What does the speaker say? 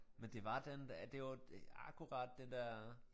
Men det var den ja det jo akkurat den der